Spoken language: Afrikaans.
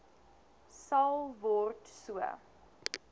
sal word so